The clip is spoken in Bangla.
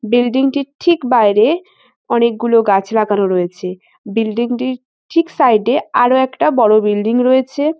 বিল্ডিং -টির ঠিক বাইরে অনেকগুলো গাছ লাগানো রয়েছে। বিল্ডিং -টির ঠিক সাইড -এ আরো একটা বড় বিল্ডিং রয়েছে।